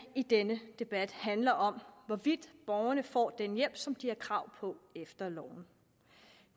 i denne debat handler om hvorvidt borgerne får den hjælp som de har krav på efter loven